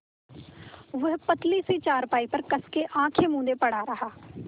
वह पतली सी चारपाई पर कस के आँखें मूँदे पड़ा रहा